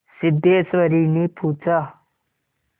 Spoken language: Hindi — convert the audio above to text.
सिद्धेश्वरीने पूछा